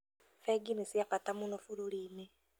Bengi nĩ cia bata mũno bũrũri-inĩ